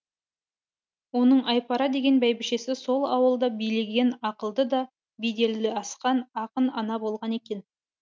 оның айпара деген бәйбішесі сол ауылды билеген ақылды да беделі асқан ақын ана болған екен